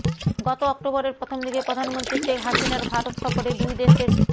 গত অক্টোবরের প্রথম দিকে প্রধানমন্ত্রী শেখ হাসিনার ভারত সফরে দুই দেশের